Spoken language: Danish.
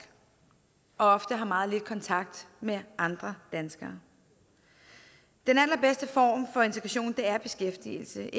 og ofte har meget lidt kontakt med andre danskere den allerbedste form for integration er beskæftigelse